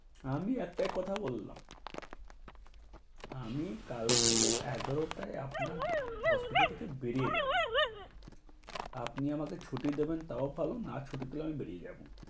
আমি একটাই কথা বললাম, আমি কালকে এগারোটায় আপনার hospital থেকে বেরিয়ে যাবো। আপনি আমাকে ছুটি দিবে তাও ভালো না ছুটি দিলেও আমি বেরিয়ে যাবো